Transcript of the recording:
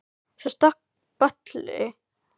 Svo stökk boli áfram út í Bakarí.